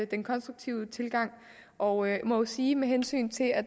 den konstruktive tilgang og jeg må sige med hensyn til at